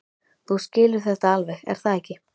Þú skilur þetta alveg, er það ekki?